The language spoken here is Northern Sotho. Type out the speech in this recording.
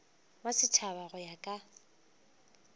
wa setšhaba go ya ka